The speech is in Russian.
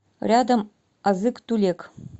рядом азык тулек